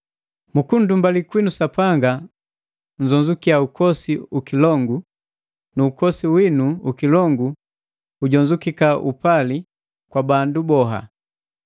Mukunndumbali kwinu Sapanga nzonzukia ukosi ukilongu, nu ukosi winu ukilongu ujonzukia upali kwa bandu boha: